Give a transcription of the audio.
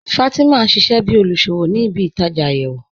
Fatima n ṣíṣẹ̀ bí olúṣọ́wọ̀ ní ìbí-ìtajá ayéwo.